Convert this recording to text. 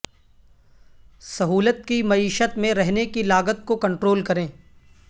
سہولت کی معیشت میں رہنے کی لاگت کو کنٹرول کریں